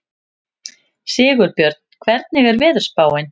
Sigurbjörn, hvernig er veðurspáin?